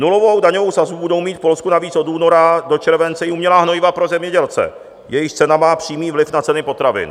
Nulovou daňovou sazbu budou mít v Polsku navíc od února do července i umělá hnojiva pro zemědělce, jejichž cena má přímý vliv na ceny potravin.